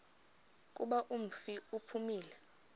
kuba umfi uphumile